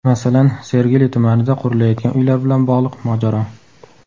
Masalan, Sergeli tumanida qurilayotgan uylar bilan bog‘liq mojaro.